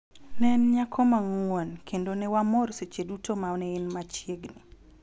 Ne en nyako ma ng�won kendo ne wamor seche duto ma ne en machiegni,